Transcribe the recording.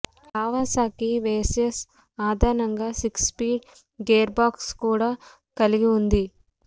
Kawasaki Versys అదనంగా six speed gear box కూడా కలిగి ఉన్నది